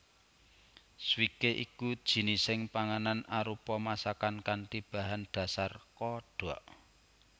Swikee iku jinising panganan arupa masakan kanthi bahan dhasar kodhok